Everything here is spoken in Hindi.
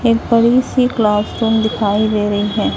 एक बड़ी सी क्लासरूम दिखाई दे रही है।